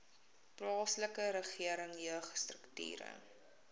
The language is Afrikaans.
plaaslike regering jeugstrukture